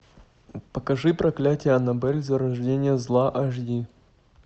покажи проклятие аннабель зарождение зла аш ди